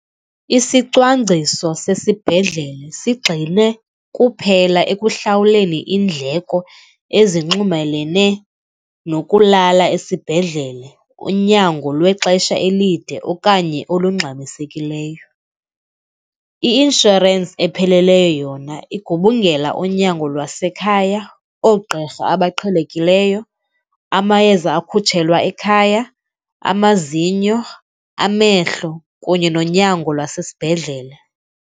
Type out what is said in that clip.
Isicwangciso sesibhedlele sigxile kuphela ekuhlawuleni iindleko ezinxumelene nokulala esibhedlele, unyango lwexesha elide okanye olungxamisekileyo. I-inshorensi epheleleyo yona igubungela unyango lwasekhaya, oogqirha abaqhelekileyo, amayeza akutshelwa ekhaya, amazinyo, amehlo, kunye nonyango lwasesibhedlele.